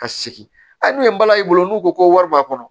Ka sigi hali n'u ye bala y'i bolo n'u ko ko wari b'a kɔnɔ